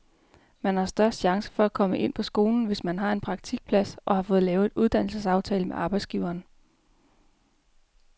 Man har størst chance for at komme ind på skolen, hvis man har en praktikplads, og har fået lavet en uddannelsesaftale med arbejdsgiveren.